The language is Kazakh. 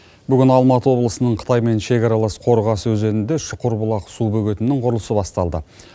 бүгін алматы облысының қытаймен шекаралас қорғасы өзенінде шұқыр бұлақ су бөгетінің құрылысы басталды